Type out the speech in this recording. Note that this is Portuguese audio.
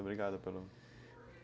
Obrigado